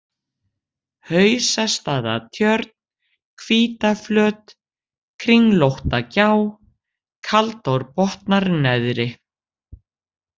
Hausastaðatjörn, Hvítaflöt, Kringlóttagjá, Kaldárbotnar neðri